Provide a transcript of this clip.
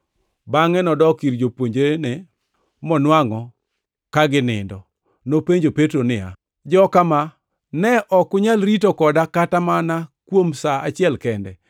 Bangʼe nodok ir jopuonjrene monwangʼo ka ginindo. Nopenjo Petro niya, “Joka ma, ne ok unyal rito koda kata kuom sa achiel kende?